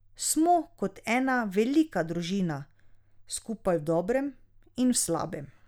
Smo kot ena velika družina, skupaj v dobrem in v slabem.